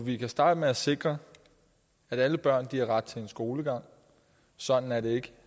vi kan starte med at sikre at alle børn har ret til en skolegang sådan er det ikke